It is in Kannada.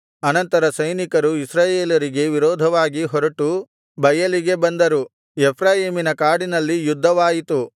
ಅನಂತರ ಸೈನಿಕರು ಇಸ್ರಾಯೇಲರಿಗೆ ವಿರೋಧವಾಗಿ ಹೊರಟು ಬಯಲಿಗೆ ಬಂದರು ಎಫ್ರಾಯೀಮಿನ ಕಾಡಿನಲ್ಲಿ ಯುದ್ಧವಾಯಿತು